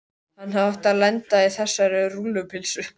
Hann hefði átt að lenda á þessari rúllupylsu.